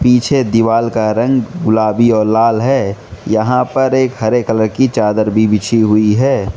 पीछे दीवाल का रंग गुलाबी और लाल है यहां पर एक हरे कलर की चादर भी बिछी हुई है।